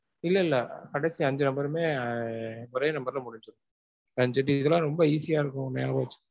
இல்ல இல்ல. கடைசி அஞ்சி number ருமே ஒரே number ல முடிஞ்சிரும். ரொம்ப easy ஆ இருக்கும் ஞாபகம் வச்சிக்க.